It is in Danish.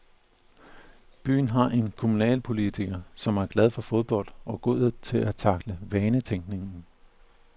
Byen har en kommunalpolitiker, som er glad for fodbold og god til at tackle vanetænkningen.